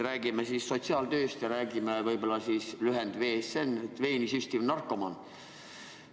Räägime siis sotsiaaltööst ja lühendist VSN, mis tähistab veeni süstivat narkomaani.